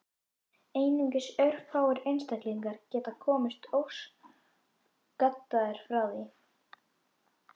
Einungis örfáir einstaklingar geti komist óskaddaðir frá því.